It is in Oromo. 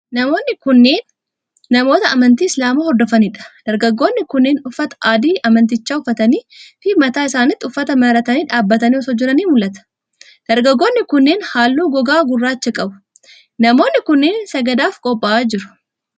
Namoonni kunneen, namoota amntii islaamaa hordofanii dha. Dargaggoonni kunneen, uffata adii amantichaa uffatanii fi mataa isaanittis uffata maratanii dhaabbatanii osoo jiranii mul'atu. Dargaggoonni kunneem, haalluu gogaa gurraacha qabu. Namoonni kunneen, sagadaaf qopha'aa jiru.